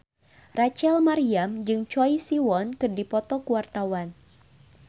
Rachel Maryam jeung Choi Siwon keur dipoto ku wartawan